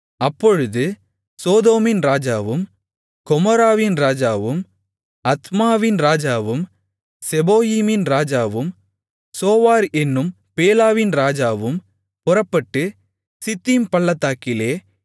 அப்பொழுது சோதோமின் ராஜாவும் கொமோராவின் ராஜாவும் அத்மாவின் ராஜாவும் செபோயீமின் ராஜாவும் சோவார் என்னும் பேலாவின் ராஜாவும் புறப்பட்டு சித்தீம் பள்ளத்தாக்கிலே